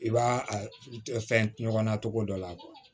I b'a a fɛn ɲɔgɔnna cogo dɔ la